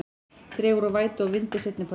Dregur úr vætu og vindi seinnipartinn